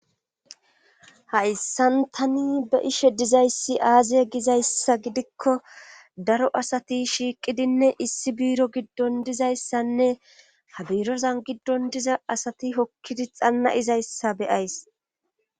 Hayssan tani be7ishe dizay aaze gizayssa gidikko daro asati shiiqidinne issi biiro giddon dizayssanne ha birooza giddon diza asati hikkidi xanna7izayssa be7ays.